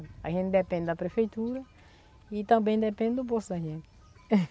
A gente depende da prefeitura e também depende do bolso da gente.